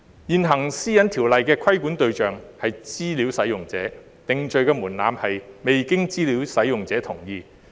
現行《私隱條例》的規管對象為資料使用者，定罪門檻是"未經資料使用者同意"。